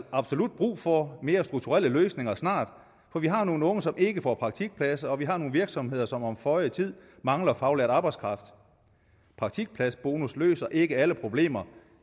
absolut brug for mere strukturelle løsninger snart for vi har nogle unge som ikke får praktikpladser og vi har nogle virksomheder som om føje tid mangler faglært arbejdskraft praktikpladsbonus løser ikke alle problemer